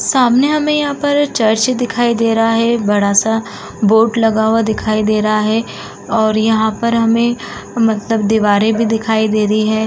सामने हमें यहाँ पर चर्च दिखाई दे रहा है बड़ा-सा बोर्ड लगा हुआ दिखाई दे रहा है और यहाँ पर हमे मतलब दिवारे भी दिखाई देरी है।